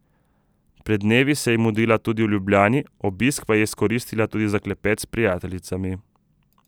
Pred dnevi se je mudila tudi v Ljubljani, obisk pa izkoristila tudi za klepet s prijateljicami.